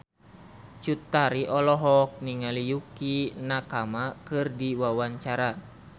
Cut Tari olohok ningali Yukie Nakama keur diwawancara